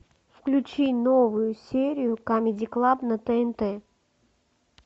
включи новую серию камеди клаб на тнт